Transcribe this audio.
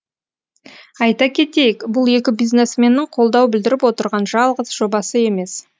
айта кетейік бұл екі бизнесменнің қолдау білдіріп отырған жалғыз жобасы емес